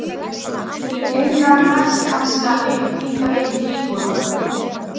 Heimsóknin í Möðrudal var með eftirminnilegri atvikum ferðalagsins.